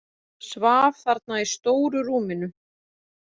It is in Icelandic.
Svaf þarna í stóru rúminu.